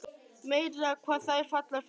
Meira hvað þær falla fyrir honum!